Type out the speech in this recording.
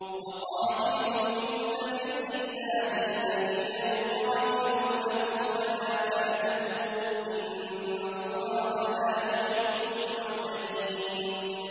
وَقَاتِلُوا فِي سَبِيلِ اللَّهِ الَّذِينَ يُقَاتِلُونَكُمْ وَلَا تَعْتَدُوا ۚ إِنَّ اللَّهَ لَا يُحِبُّ الْمُعْتَدِينَ